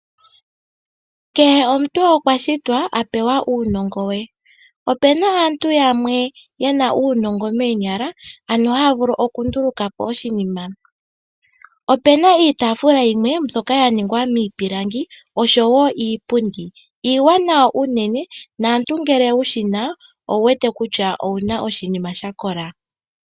Kehe omuntu okwa shitwa a pewa uunongo we. Opu na aantu yamwe ya pewa uunongo moonyala ano haya vulu okunduluka po oshinima. Opu na iitaafula yimwe mbyoka ya ningwa miipilangi oshowo iipundi. Iiwanawa unene, nomuntu ngele wu shi na owu wete kutya owu na oshinima sha kola.